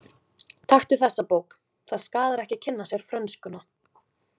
Taktu þessa bók, það skaðar ekki að kynna sér frönskuna.